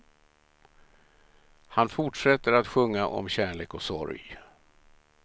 Han fortsätter att sjunga om kärlek och sorg.